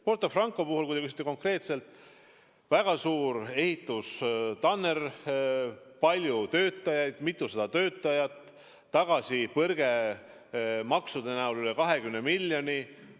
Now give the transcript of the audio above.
Porto Franco puhul, kui te küsite konkreetselt, on väga suur ehitustanner, mitusada töötajat, tagasipõrge maksudena üle 20 miljoni.